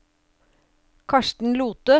Karsten Lothe